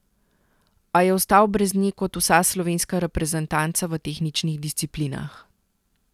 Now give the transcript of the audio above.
A je ostal brez nje kot vsa slovenska reprezentanca v tehničnih disciplinah.